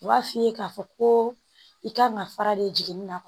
U b'a f'i ye k'a fɔ ko i kan ka fara de jiginna